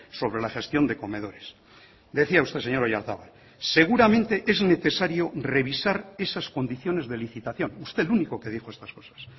sobre la gestión de comedores decía usted señor oyarzabal seguramente es necesario revisar esas condiciones de licitación usted el único que dijo estas cosas